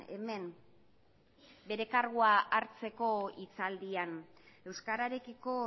hemen bere kargua hartzeko hitzaldian euskararekiko